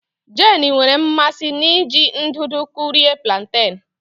Jane nwere mmasị n'iji ndụdụ kụrie plantain